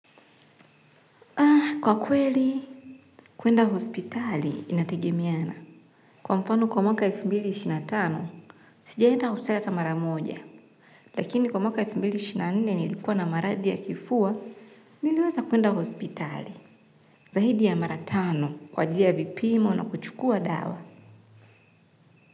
Kwa kweli, kwenda hospitali inategemeana. Kwa mfano kwa mwaka elfu mbili ishirini na tano, sijaienda hospitali ata mara moja. Lakini kwa mwaka wa elfu mbili ishirini na nne nilikuwa na maradhi ya kifua, niliweza kwenda hospitali. Zahidi ya mara tano, kwa ajili ya vipimo na kuchukua dawa.